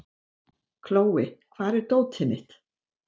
Kjói, hvar er dótið mitt?